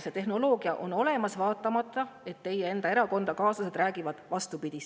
See tehnoloogia on olemas vaatamata sellele, et teie enda erakonnakaaslased räägivad vastupidist.